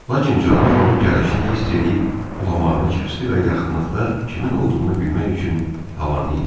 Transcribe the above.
Lakin canavar onun gəlişini hiss eləyib ulamağını kəsdi və yaxınlıqda kimin olduğunu bilmək üçün havanı ilədə.